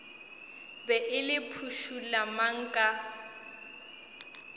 be le phušula mang ka